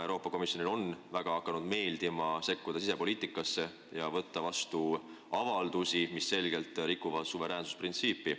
Euroopa Komisjonile on hakanud väga meeldima sekkuda sisepoliitikasse ja võtta vastu avaldusi, mis selgelt rikuvad suveräänsusprintsiipi.